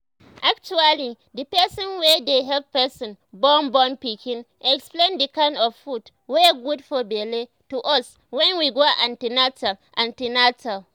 actually the person wey dey help person born born pikin explain the kind of food wey good for belle to us wen go an ten atal an ten atal